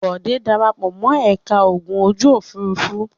Bòdé dara pọ̀ mọ́ ẹ̀ka ogun ojú-òfurufú.